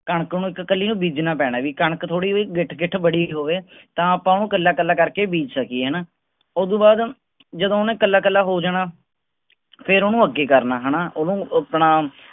ਕਣਕ ਨੂੰ ਇਕ ਕੱਲੀ ਬੀਜਣਾ ਪੈਣਾ ਵੀ ਕਣਕ ਥੋੜੀ ਜੀ ਗਿੱਠ ਗਿੱਠ ਬੜੀ ਹੋਵੇ ਤਾਂ ਆਪਾਂ ਓਹਨੂੰ ਕੱਲਾ ਕੱਲਾ ਕਰ ਕੇ ਬੀਜ ਸਕੀਏ ਹੈਨਾ ਉਹਦੋਂ ਬਾਅਦ ਜਦੋਂ ਓਹਨੇ ਕੱਲਾ ਕੱਲਾ ਹੋ ਜਾਣਾ ਫੇਰ ਓਹਨੂੰ ਅੱਗੇ ਕਰਨਾ ਹੈਨਾ। ਓਹਨੂੰ ਆਪਣਾ